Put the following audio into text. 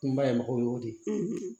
N bayɛlɛmako y'o de ye